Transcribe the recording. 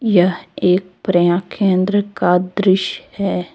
यह एक प्रयां केंद्र का दृश्य है।